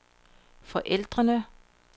forældrene